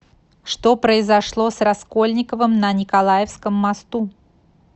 что произошло с раскольниковым на николаевском мосту